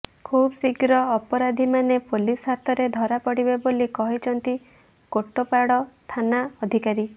ଖୁବଶୀଘ୍ର ଅପରାଧୀମାନେ ପୋଲିସ୍ ହାତରେ ଧରାପଡ଼ିବେ ବୋଲି କହିଛନ୍ତି କୋଟପାଡ଼ ଥାନା ଅଧିକାରୀ